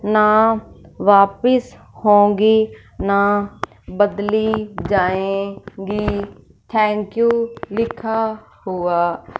ना वापस होंगी ना बदली जाएंगी थैंक यू लिखा हुआ--